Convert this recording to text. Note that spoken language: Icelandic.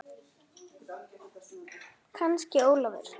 Kannski Ólafur.